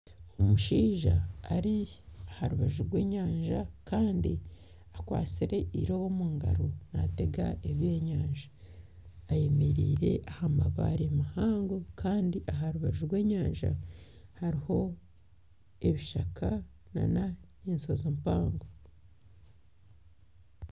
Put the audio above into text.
Omushaija ari aharubaju rw'enyanja Kandi akwatsire irobo omungaro nategaa ebyenyanja ayemereire aha mabaare mahango Kandi aharubaju rw'enyanja hariho ebishaka n'enshozi mpango.